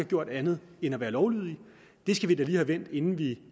gjort andet end at være lovlydige det skal vi da lige have vendt inden vi